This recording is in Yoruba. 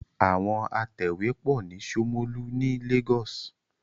Àwọn atẹ̀wé pọ̀ ní Ṣómólú ni Lagos.